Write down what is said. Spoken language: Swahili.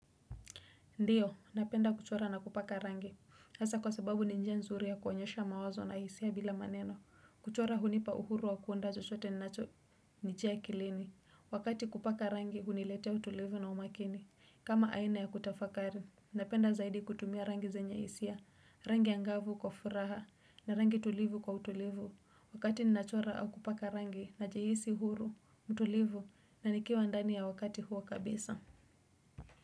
Ndiyo, napenda kuchora na kupaka rangi hasa kwa sababu ni njia nzuri ya kuonyesha mawazo na hisia bila maneno. Kuchora hunipa uhuru wa kuunda chochote ninacho nijia akilini. Wakati kupaka rangi huniletea utulivu na umakini kama aina ya kutafakari napenda zaidi kutumia rangi zenya hisia. Rangi angavu kwa furaha na rangi tulivu kwa utulivu wakati ninachora au kupaka rangi najihisi huru, mtulivu na nikiwa ndani ya wakati huo kabisa.